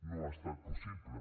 no ha estat possible